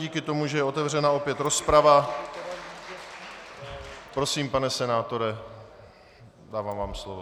Díky tomu, že je otevřena opět rozprava, prosím, pane senátore, dávám vám slovo.